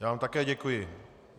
Já vám také děkuji.